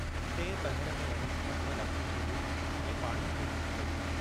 टिएं पहर में वञी झमटमल अखियूं खोलियूं ऐं पाणीअ जी घर कई।